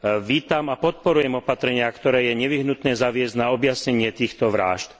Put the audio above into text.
Vítam a podporujem opatrenia, ktoré je nevyhnutné zaviesť na objasnenie týchto vrážd.